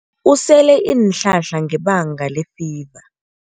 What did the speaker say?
Usele iinhlahla ngebanga lefiva.